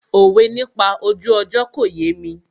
Òwe nípa ojú ọjọ́ kò yémi